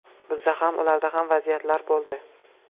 Bizda ham, ularda ham vaziyatlar bo‘ldi.